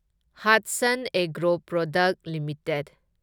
Hatsun agro product limited